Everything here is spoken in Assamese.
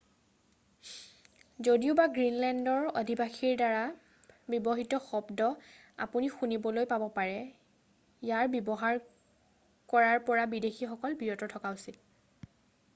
যদিওবা গ্ৰীণলেণ্ডৰ অধিবাসীৰ দ্বাৰা ব্যৱহৃত শব্দ আপুনি শুনিবলৈ পাব পাৰে ইয়াৰ ব্যৱহাৰ কৰাৰ পৰা বিদেশীসকল বিৰত থকা উচিত